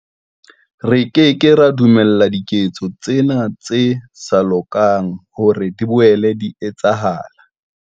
Re ke ke ra dumella diketso tsena tse sa lokang hore di boele di etsahale.